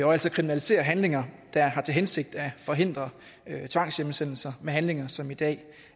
og altså kriminalisere handlinger der har til hensigt at forhindre tvangshjemsendelser med handlinger som i dag